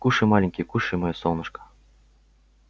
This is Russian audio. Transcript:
кушай маленький кушай моё солнышко